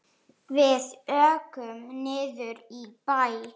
Við ókum niður í bæ.